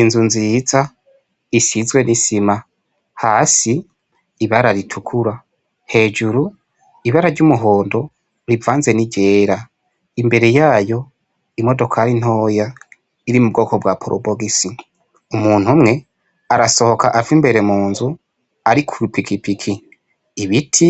Inzu nziza isizwe n'isima hasi ibara ritukura, hejuru ibara ryumuhondo rivanze n'iryera, imbere yoya imodokari ntoya iri mu bwoko bwa porobogise umuntu umwe arasohoka ava imbere munzu ari kwipikipiki, ibiti